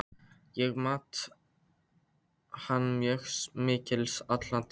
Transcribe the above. Ég mat hann mjög mikils alla tíð.